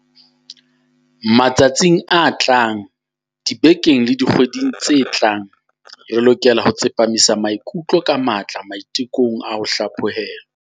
Matsatsing a tlang, dibekeng le dikgweding tse tlang, re lokela ho tsepamisa maikutlo ka matla maite kong a ho hlaphohelwa.